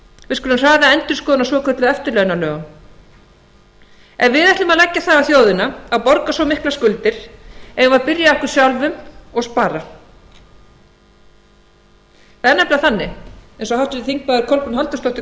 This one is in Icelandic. við skulum hraða endurskoðun á svokölluðum eftirlaunalögum ef við ætlum að leggja það á þjóðina að borga svo miklar skuldir eigum við að byrja á okkur sjálfum og spara það er nefnilega þannig eins og háttvirtir þingmenn kolbrún halldórsdóttir